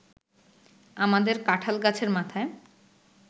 আমাদের কাঠাল গাছের মাথায়